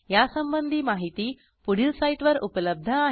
यासंबंधी माहिती पुढील साईटवर उपलब्ध आहे